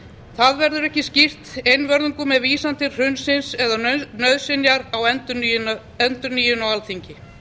það verður ekki skýrt einvörðungu með vísan til hrunsins eða nauðsynjar á endurnýjun á alþingi